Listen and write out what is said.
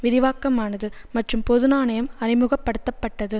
விரிவாக்கமானது மற்றும் பொது நாணயம் அறிமுக படுத்த பட்டது